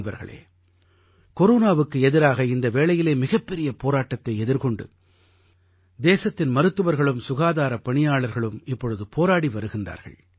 நண்பர்களே கொரோனாவுக்கு எதிராக இந்த வேளையிலே மிகப்பெரிய போராட்டத்தை எதிர்கொண்டு தேசத்தின் மருத்துவர்களும் சுகாதாரப்பணியாளர்களும் இப்பொழுது போராடி வருகின்றார்கள்